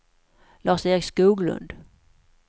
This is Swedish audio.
Lars-Erik Skoglund